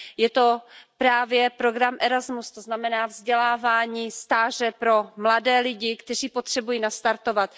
Je to právě program Erasmus, to znamená vzdělávání, stáže pro mladé lidi, kteří potřebují nastartovat.